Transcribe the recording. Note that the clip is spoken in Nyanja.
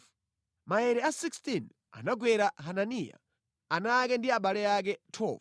Maere a 16 anagwera Hananiya, ana ake ndi abale ake. 12